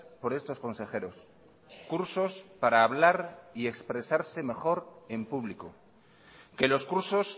por estos consejeros cursos para hablar y expresarse mejor en público que los cursos